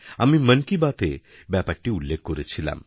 আমি মন কি বাতএ ব্যাপারটি উল্লেখকরেছিলাম